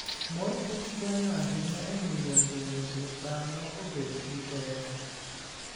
mor kich konyo ahinya e miyo dend dhano obed gi teko.